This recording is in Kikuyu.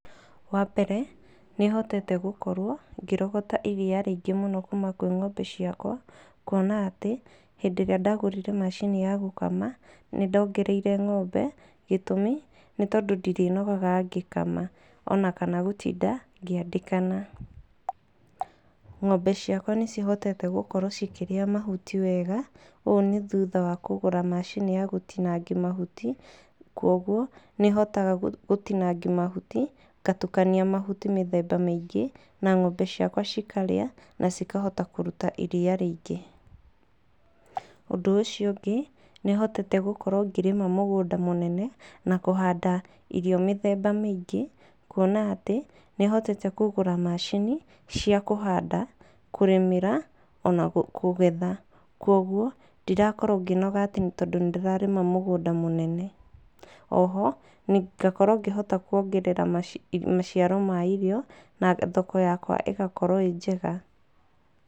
Wa mbere nĩ hotete gũkorwo ngĩrogota iria rĩingĩ mũno kuma kwĩ ng'ombe ciakwa, kuona atĩ hĩndĩ ĩrĩa ndagũrire macini ya gũkama nĩ ndongereire ng'ombe gĩtũmi, nĩ tondũ ndirĩnogaga ngĩkama ona kana gũtinda ngĩandĩkana. Ng'ombe ciakwa nĩ cihotete gũkorwo cikĩria mahuti wega ũũ nĩ thutha wa kũgũra macini ya gũtinangia mahuti, kwoguo nĩ hotaga gũtingangi mahuti ngatukania, mahuti mĩthemba mĩingĩ na ng'ombe ciakwa cikarĩa na cikahota kũruta iria rĩingĩ. Ũndũ ũcio ũngĩ, nĩ hotete gũkorwo ngĩrĩma mũgũnda mũnene na kũhanda irio mĩthemba mĩingĩ, kuona atĩ nĩ hotete kũgura macini cia kũhanda, kũrimĩra, ona kũgetha. Koguo ndirakorwo ngĩnoga atĩ tondũ nĩ ndĩrarĩma mũgũnda mũnene. O ho ngakorwo ngĩhota kuongerera maciaro ma irio na thoko ya kwa ĩgakorwo ĩ njega.